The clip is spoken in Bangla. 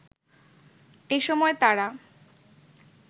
এসময় তারা